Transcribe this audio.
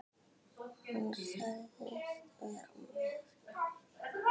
Hann sagðist vera með